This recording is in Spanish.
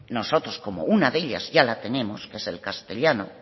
nosotros como una de ellas ya la tenemos que es el castellano